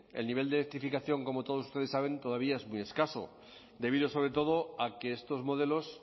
el nivel de electrificación como todos ustedes saben todavía es muy escaso debido sobre todo a que estos modelos